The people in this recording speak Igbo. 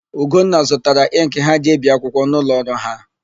Ugonna zụtara ịnkị ha ji ebi akwụkwọ n'ụlọọrụ ha.